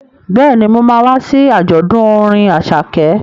Bẹ́ẹ̀ni, mo ma wá sí àjọ̀dún orin Àṣàkẹ́